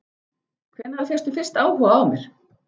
Hvenær fékkstu fyrst áhuga á mér?